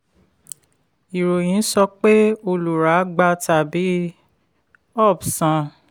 um ìròyìn sọ pé olùrà gba tàbí ups san.